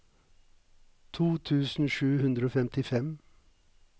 to tusen sju hundre og femtifem